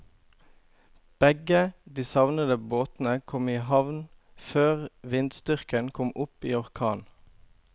Begge de savnede båtene kom i havn før vindstyrken kom opp i orkan.